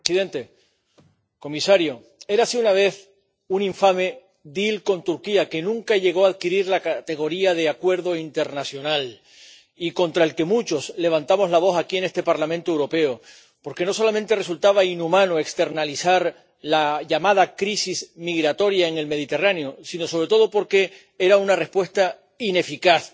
Señor presidente, señor comisario, érase una vez un infame con Turquía que nunca llegó a adquirir la categoría de acuerdo internacional y contra el que muchos levantamos la voz aquí, en este Parlamento Europeo, porque no solamente resultaba inhumano externalizar la llamada crisis migratoria en el Mediterráneo, sino, sobre todo, porque era una respuesta ineficaz.